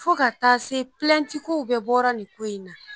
Fo ka taa se ko bɛɛ bɔra nin ko in na